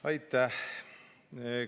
Aitäh!